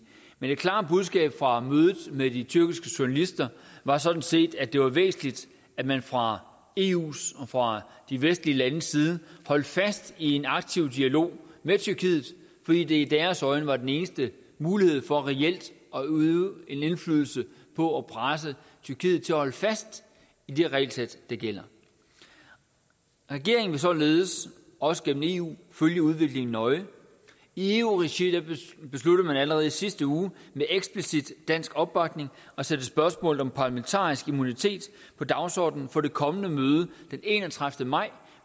men det klare budskab fra mødet med de tyrkiske journalister var sådan set at det var væsentligt at man fra eus og fra de vestlige landes side holdt fast i en aktiv dialog med tyrkiet fordi det i deres øjne var den eneste mulighed for reelt at udøve en indflydelse på at presse tyrkiet til at holde fast i de regelsæt der gælder regeringen vil således også gennem eu følge udviklingen nøje i eu regi besluttede man allerede i sidste uge med eksplicit dansk opbakning at sætte spørgsmålet om parlamentarisk immunitet på dagsordenen på det kommende møde den enogtredivete maj